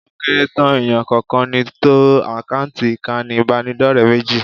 Ó kéré tán èèyàn kọ̀ọ̀kan ni tó àkáǹtì ìkànnì ìbánidọ́rẹ̀ẹ́ méjì